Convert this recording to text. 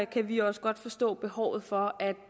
kan vi også godt forstå behovet for at